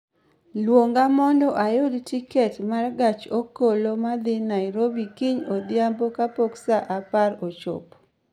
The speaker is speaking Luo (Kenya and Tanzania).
Luonga mondo ayud tiket ma gach okoloma dhi Nairobi kiny odhiambo kapok saa apar ochopo